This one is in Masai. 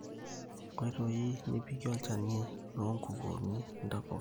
Enkoitoi nipikie olchani loonkukunik intapuka